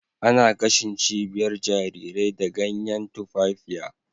Ana gashin cibiyar jarirai da ganyan tumfafiya